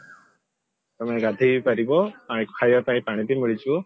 ତମେ ଗାଧେଇ ବି ପାରିବ ଖାଇବା ପାଇଁ ପାଣି ବି ମିଳିଯିବ